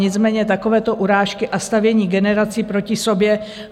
Nicméně takovéto urážky a stavění generací proti sobě...